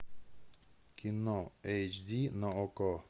кино эйч ди на окко